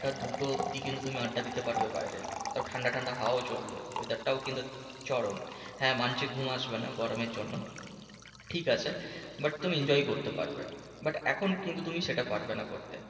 টা দু টো অব্দি তুমি আড্ডা দিতে পারবে বাইরে। তাও ঠান্ডা ঠান্ডা হওয়াও চলবে। weather টাও কিন্তু চরম। হ্যাঁ মানছি ঘুম আসবে না গরমের জন্য। ঠিকাছে but তুমি enjoy করতে পারবে। but এখন কিন্তু তুমি সেটা পারবে না করতে।